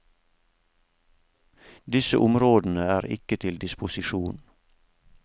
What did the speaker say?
Disse områdene er ikke til disposisjon.